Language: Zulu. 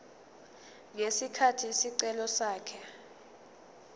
ngesikhathi isicelo sakhe